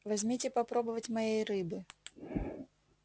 возьмите попробовать моей рыбы